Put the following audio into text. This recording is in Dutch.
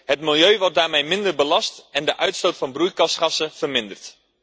Het milieu wordt daarmee minder belast en de uitstoot van broeikasgassen verminderd.